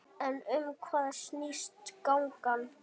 En um hvað snýst gangan?